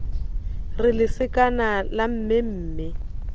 re lesekana la mme mme